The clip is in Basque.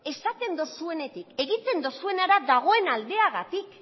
esaten duzuenetik egiten duzuenera dagoen aldeagatik